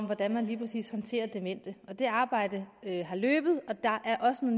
hvordan man lige præcis håndterer demente det arbejde har løbet og der er også